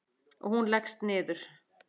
Og hún leggst niður.